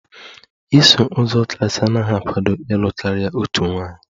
Iso uzọ Kraịst anaghị akwado ịlụ karịa otu nwaanyị